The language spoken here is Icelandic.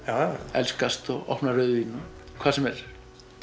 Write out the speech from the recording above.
elskast og opna rauðvín hvað sem er